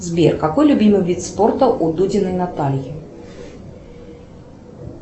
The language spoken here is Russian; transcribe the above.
сбер какой любимый вид спорта у дудиной натальи